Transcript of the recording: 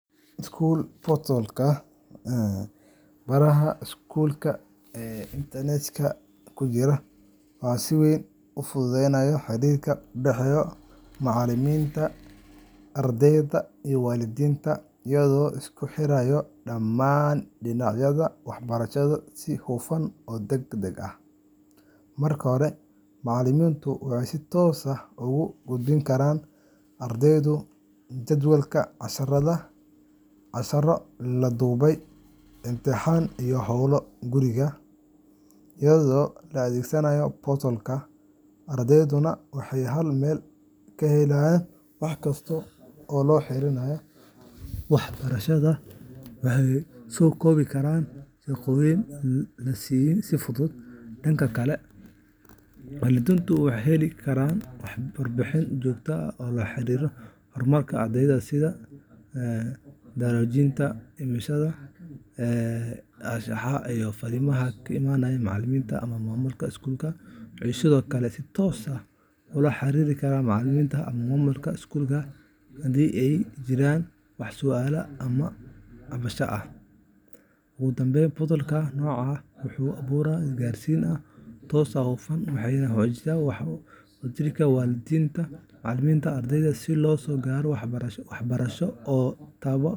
School portals-ka baraha iskuulka ee internetka ku jira waxay si weyn u fududeeyaan xiriirka u dhexeeya macallimiinta, ardayda, iyo waalidiinta iyagoo isku xira dhammaan dhinacyada waxbarashada si hufan oo degdeg ah. Marka hore, macallimiintu waxay si toos ah ugu gudbin karaan ardayda jadwalka casharrada, casharro la duubay, imtixaano, iyo hawlo guriga assignments iyagoo adeegsanaya portal-ka. Ardayduna waxay hal meel ka helayaan wax kasta oo la xiriira waxbarashadooda, waxayna soo gudbin karaan shaqooyinka la siiyay si fudud. Dhanka kale, waalidiintu waxay heli karaan warbixino joogto ah oo la xiriira horumarka ardayga sida darajooyinka, imaanshaha attendance, anshaxa, iyo fariimaha ka imanaya macallimiinta ama maamulka iskuulka. Waxay sidoo kale si toos ah ula xiriiri karaan macallimiinta ama maamulka iskuulka haddii ay jiraan wax su’aalo ama cabashooyin ah. Ugu dambeyn, portals-ka noocan ah waxay abuuraan isgaarsiin toos ah oo hufan, waxayna xoojiyaan wadashaqeynta waalidiinta, macallimiinta, iyo ardayda si loo gaaro guulo waxbarasho oo.